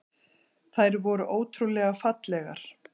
Þær voru ótrúlega fallegar.